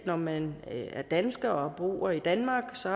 når man er dansker og bor i danmark så